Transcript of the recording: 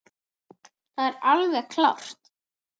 Það er alveg klárt.